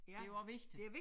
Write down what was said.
Det jo også vigtigt